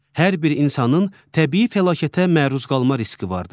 Hər bir insanın təbii fəlakətə məruz qalma riski vardır.